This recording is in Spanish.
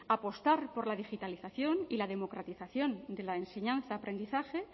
apostar por la digitalización y la democratización de la enseñanza aprendizaje